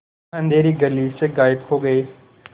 वह अँधेरी गली से गायब हो गए